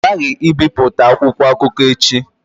Ọ ghaghị ibipụta akwụkwọ akụkọ echi!